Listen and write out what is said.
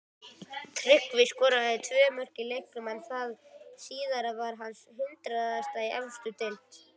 Tryggvi skoraði tvö mörk í leiknum en það síðara var hans hundraðasta í efstu deild.